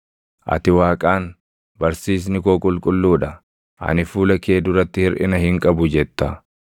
Ati Waaqaan, ‘Barsiisni koo qulqulluu dha; ani fuula kee duratti hirʼina hin qabu’ jetta.